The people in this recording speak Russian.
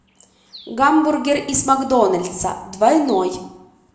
гамбургер из макдональдса двойной